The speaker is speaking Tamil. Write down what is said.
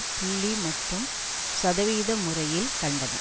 புள்ளி மற்றும் சதவிகித முறையில் கண்டன